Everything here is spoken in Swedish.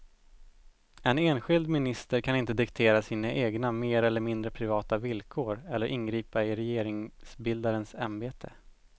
En enskild minister kan inte diktera sina egna mer eller mindre privata villkor eller ingripa i regeringsbildarens ämbete.